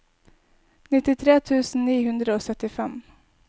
nittitre tusen ni hundre og syttifem